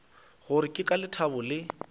gore ke ka lethabo le